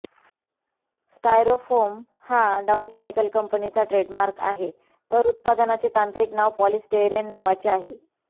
styrofoam हा Dow chemical कंपनीचा trademark आहे तर उत्पादनाचे तांत्रिक नाव पॉलीस्टेयरीन नावाचे आहे